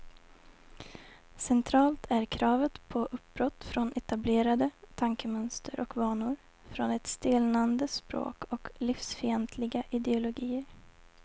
Centralt är kravet på uppbrott från etablerade tankemönster och vanor, från ett stelnande språk och livsfientliga ideologier.